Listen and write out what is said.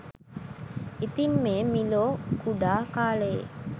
ඉතින් මේ මිලෝ කුඩා කාලයේ